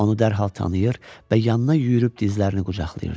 Onu dərhal tanıyır və yanına yüyürüb dizlərini qucaqlayırdı.